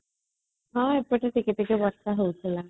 ହଁ ଏପଟେ ଟିକେ ବର୍ଷା ହଉଥିଲା